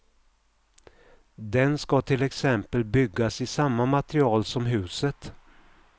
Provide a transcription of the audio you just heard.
Den ska till exempel byggas i samma material som huset.